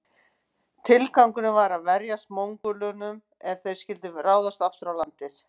Tilgangurinn var að verjast Mongólunum ef þeir skyldu ráðast aftur að landinu.